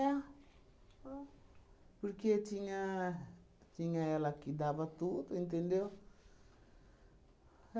é. Porque tinha... tinha ela que dava tudo, entendeu?